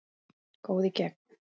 Góð í gegn.